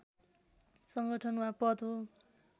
संगठन वा पद हो